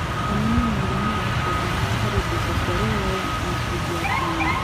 onanĩa mũigana wa ũcenjanĩa harĩ mbeca cĩa rũraya na ciringi ya Kenya